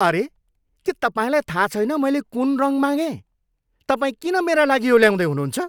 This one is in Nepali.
अरे, के तपाईँलाई थाहा छैन मैले कुन रङ मागेँ? तपाईँ किन मेरा लागि यो ल्याउँदै हुनुहुन्छ?